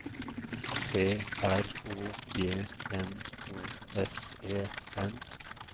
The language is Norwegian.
P R O G N O S E N